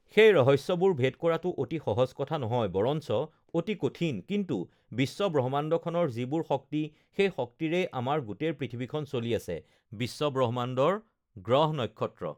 সেই ৰহস্যবোৰ ভেদ কৰাটো অতি সহজ কথা নহয় বৰঞ্চ অতি কঠিন কিন্তু বিশ্বব্ৰহ্মাণ্ডখনৰ যিবোৰ শক্তি সেই শক্তিৰেই আমাৰ গোটেই পৃথিৱীখন চলি আছে বিশ্বব্ৰহ্মাণ্ডৰ গ্ৰহ-নক্ষত্ৰ